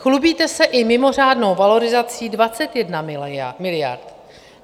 Chlubíte se i mimořádnou valorizací 21 miliard.